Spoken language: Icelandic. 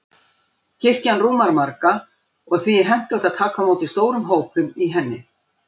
Kirkjan rúmar marga, og því er hentugt að taka á móti stórum hópum í henni.